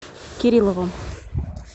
кирилловым